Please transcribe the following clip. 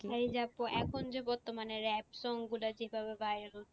এই যে আপু এখন যে বর্তমানে rap song গুলো যেভাবে viral হচ্ছে